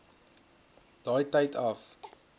daai tyd af